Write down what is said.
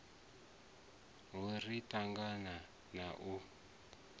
ho ri tangaho na u